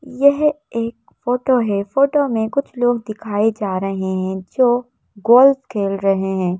यह एक फोटो है फोटो में कुछ लोग दिखाए जा रहे हैं जो गोल्फ खेल रहे हैं।